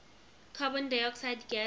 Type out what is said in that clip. carbon dioxide gas